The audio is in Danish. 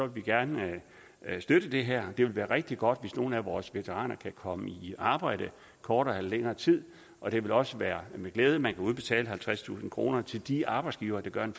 vi gerne støtte det her det vil være rigtig godt hvis nogle af vores veteraner kan komme i arbejde i kortere eller længere tid og det vil også være med glæde man kan udbetale halvtredstusind kroner til de arbejdsgivere der gør en